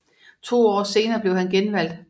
To år senere blev han genvalgt